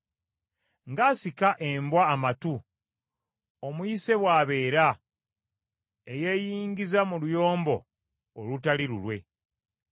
Ng’asika embwa amatu, omuyise bw’abeera eyeeyingiza mu luyombo olutali lulwe.